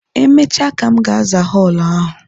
Emechaa ka m ga-aza họọlụ ahụ.